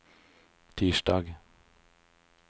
tirsdag